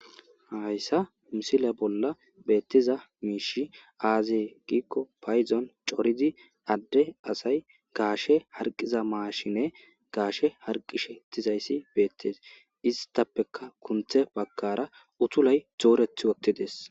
hayssa misile bolla beettiza miishi aazee giikko paydon corizi adde asay gaashe harqiza maashine gaashe harqishe tizayssi beettees istappeka kunthe bakkara utulay zooreth wottides